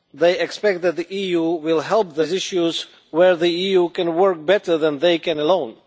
They expect that the EU will help them with issues where the EU can work better than they can alone.